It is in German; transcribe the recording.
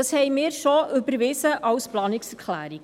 Dies überwiesen wir so als Planungserklärung.